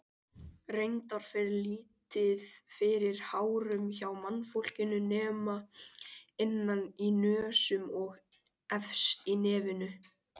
Reyndar fer lítið fyrir hárum hjá mannfólkinu nema innan í nösum og efst á nefinu.